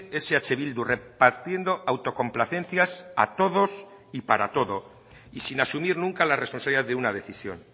es eh bildu repartiendo autocomplacencias a todos y para todo y sin asumir nunca la responsabilidad de una decisión